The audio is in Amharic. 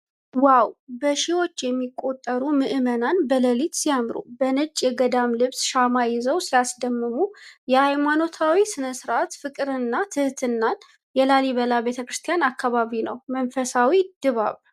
ዋው! በሺዎች የሚቆጠሩ ምዕመናን በሌሊት ሲያምሩ! በነጭ የገዳም ልብስ ሻማ ይዘው ሲያስደምሙ ። የሃይማኖታዊ ሥነ ሥርዓት ፍቅርና ትሕትና ። የላሊበላ ቤተ ክርስቲያን አካባቢ ነው ። መንፈሳዊ ድባብ!